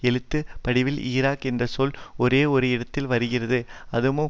எழுத்து படிவில் ஈராக் என்ற சொல் ஒரே ஒரு இடத்தில்தான் வருகிறது அதுவும்